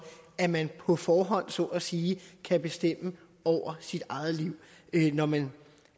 at man på forhånd så at sige kan bestemme over sit eget liv når man